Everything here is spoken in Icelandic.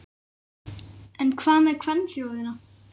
En hvað með kvenþjóðina?